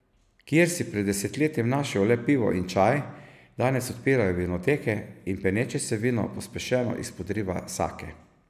Kjer si pred desetletjem našel le pivo in čaj, danes odpirajo vinoteke in peneče se vino pospešeno izpodriva sake.